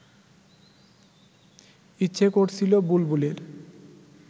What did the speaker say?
ইচ্ছে করছিল বুলবুলের